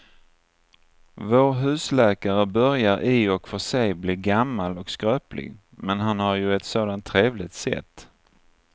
Vår husläkare börjar i och för sig bli gammal och skröplig, men han har ju ett sådant trevligt sätt!